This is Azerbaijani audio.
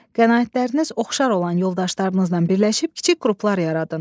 Qənaətləriniz oxşar olan yoldaşlarınızla birləşib kiçik qruplar yaradın.